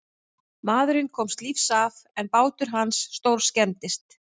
Maðurinn komst lífs af en bátur hans stórskemmdist.